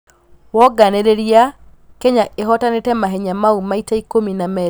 Wonganĩrĩria Kenya ĩhotanĩte mahenya mau maita ikũmi na merĩ kĩhĩtahĩtanoinĩ gĩa thĩ.